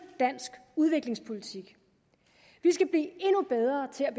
dansk udviklingspolitik vi skal blive endnu bedre til at